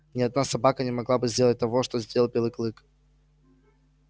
ни одна собака не могла бы сделать того что сделал белый клык